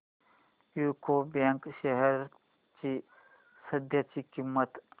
UCO bank shares ची सध्याची किंमत